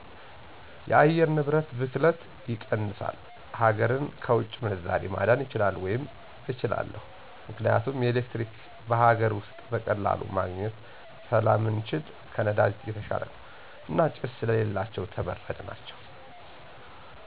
የአየር ንብረት ብክለትን ይቀንሳል፣ ሀገርን ከውጭ ምንዛሬ ማዳን ይቻላል ወይም እችላለሁ። ምክንያቱም ኤሌክትሪክ በሀገር ውስጥ በቀላሉ ማግኜት ስለምንችል ከነዳጅ የተሻለ ነው። እና ጭስ ስለሌላቸው ተመራጭ ናቸው።